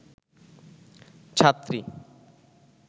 ছাত্রী